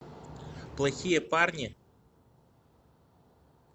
плохие парни